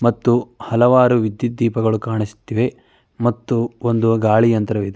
ಮತ್ತು ಹಲವಾರು ವಿದ್ಯುತ್ ದೀಪಗಳು ಕಾಣಿಸುತ್ತಿವೆ ಮತ್ತು ಒಂದು ಗಾಳಿ ಯಂತ್ರವು ಇದೆ.